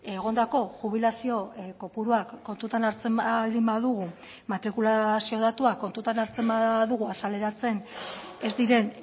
egondako jubilazio kopuruak kontutan hartzen baldin badugu matrikulazio datuak kontutan hartzen badugu azaleratzen ez diren